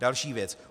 Další věc.